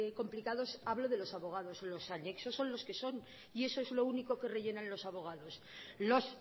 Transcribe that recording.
complicados hablo de los abogados los anexos son los que son y eso es lo único que rellenan los abogados los